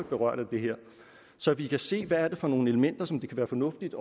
berørt af det her så vi kan se hvad det er for nogle elementer som det kan være fornuftigt